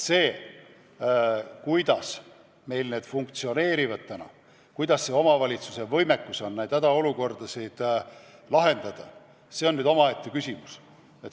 See, kuidas meil see kõik funktsioneerib, milline on omavalitsuste võimekus hädaolukordasid lahendada, on omaette küsimus.